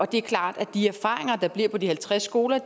det er klart at de erfaringer der bliver gjort på de halvtreds skoler